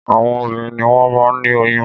Àwọn obìnrin ni wọ́n máa ń ní oyún